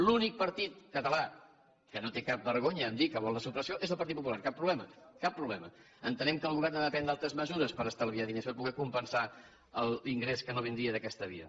l’únic partit català que no té cap vergonya de dir que vol la supressió és el partit popular cap problema cap problema entenem que el govern ha de prendre altres mesures per estalviar diners per poder compensar l’ingrés que no vindria d’aquesta via